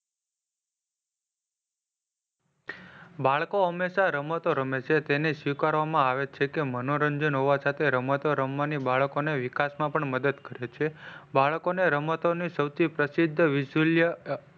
બાળાઓ હંમેશા રમતો રામે છે તેને સ્વીકારવામાં આવે છે. કે મનોરંજન હોવા છતાં રમતો રમવાની બાળકો ના વિકાસ માં પણ મદદ કરે છે. બાળકોને રમતોને સૌથી પ્રસિદ્ધ વિશૂલ્ય,